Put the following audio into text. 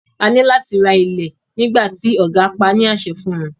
A ní láti ra ilẹ̀ nígbà tí ògá pá á ní àṣẹ fún wọn.